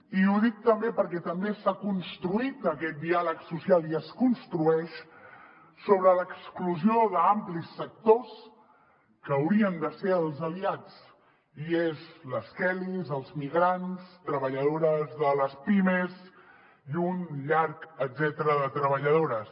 i ho dic també perquè també s’ha construït aquest diàleg social i es construeix sobre l’exclusió d’amplis sectors que haurien de ser els aliats i són les kellys els migrants treballadores de les pimes i un llarg etcètera de treballadores